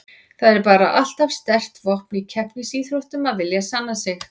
Það er bara alltaf sterkt vopn í keppnisíþróttum að vilja sanna sig.